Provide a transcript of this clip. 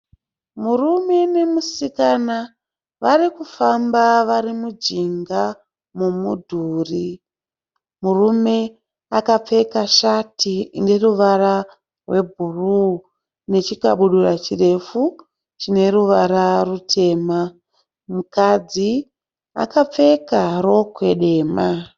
Murume nemusikana varikufamba varimunjinga memudhuri, murume akapfeka shati yeruvara hwebhuru nechikabhudura chirefu chine ruvara rutema, mukadzi akapfeka rokwe dema.